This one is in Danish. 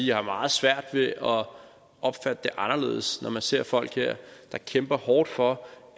jeg har meget svært ved opfatte det anderledes når man ser folk her der kæmper hårdt for